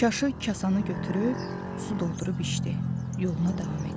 Çaşı, kasanı götürüb su doldurub içdi, yoluna davam etdi.